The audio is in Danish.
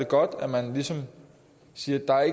godt at man ligesom siger at der